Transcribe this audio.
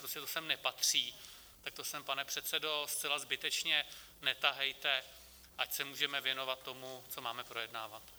Prostě to sem nepatří, tak to sem, pane předsedo, zcela zbytečně netahejte, ať se můžeme věnovat tomu, co máme projednávat.